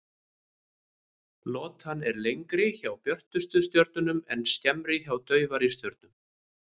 Lotan er lengri hjá björtustu stjörnunum en skemmri hjá daufari stjörnum.